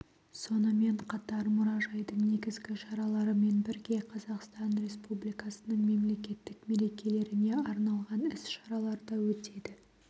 сонымен қатар мұражайдың негізгі шараларымен бірге қазақстан республикасының мемлекеттік мерекелеріне арналған іс-шаралар да өтеді